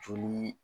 Joli